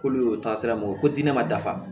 K'olu y'o taasira mun ye ko diinɛ ma dafa